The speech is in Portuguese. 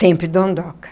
Sempre dondoca.